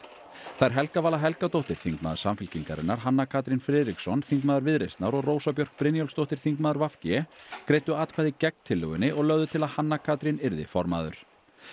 þær Helga Vala Helgadóttir þingmaður Samfylkingarinnar Hanna Katrín Friðriksson þingmaður Viðreisnar og Rósa Björk Brynjólfsdóttir þingmaður v g greiddu atkvæði gegn tillögunni og lögðu til að Hanna Katrín yrði formaður